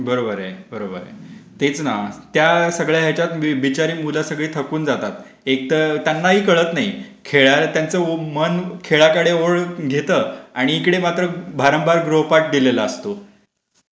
बरोबर आहे, बरोबर आहे. तेच ना. त्या सगळ्या बिचारी मुलं सगळी थकून जातात. एक तर त्यांनाही कळत नाही. खेळकडे त्यांचं मन वळता आणि इकडे मात्र भारंभार गृहपाठ दिलेला असतो.